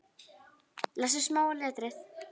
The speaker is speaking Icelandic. Lestu smáa letrið.